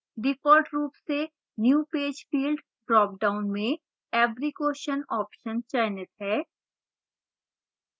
default रूप से new page field dropdown में every question option चयनित है